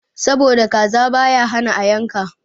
Sabo da kaza baya hana yanka.